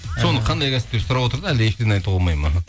соны қандай кәсіп деп сұрап отыр да әлде ештеңе айтуға болмайды ма